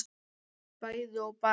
bæði og bara